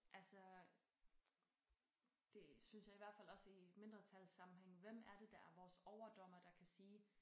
Altså det synes jeg i hvert fald også i mindretalssammenhæng hvem er det der er vores overdommer der kan sige